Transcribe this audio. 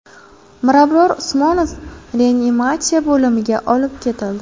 Mirabror Usmonov reanimatsiya bo‘limiga olib ketildi.